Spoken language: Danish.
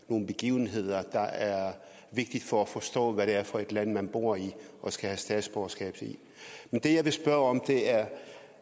nogle begivenheder der er vigtige for at forstå hvad det er for et land man bor i og skal have statsborgerskab i men det jeg vil spørge om er